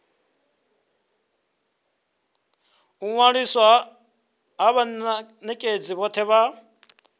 ṅwaliswa ha vhanekedzi vhothe vha